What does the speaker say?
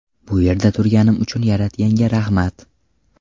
Bu yerda turganim uchun Yaratganga rahmat”.